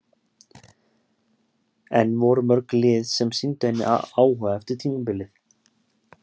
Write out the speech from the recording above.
En voru mörg lið sem sýndu henni áhuga eftir tímabilið?